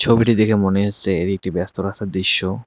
ছবিটি দেখে মনে হচ্ছে এটি একটি ব্যস্ত রাস্তার দৃশ্য।